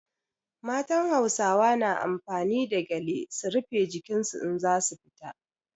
Matan Hausawa na amfani da gyale su rife jikin su in za su fita.